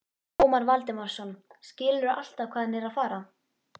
Ómar Valdimarsson: Skilurðu alltaf hvað hann er að fara?